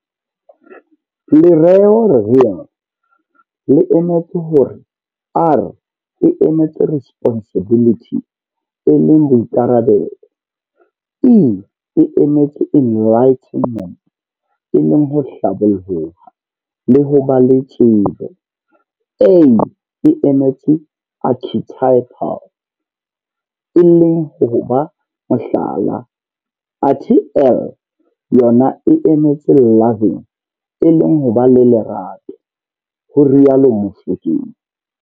Lereo Real le emetse hore R e emetse Responsibility e leng boikarabelo, E e emetse Enlightenment e leng ho hlaboloha le ho ba le tsebo, A e emetse Archetypal e leng ho ba mohlala, athe L yona e emetse loving e leng ho ba le Lerato, ho rialo Mofokeng.